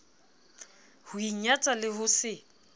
ho inyatsa le ho se